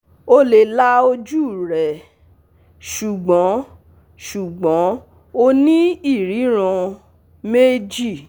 O le la oju rẹ, ṣugbọn ṣugbọn o ni iriran meji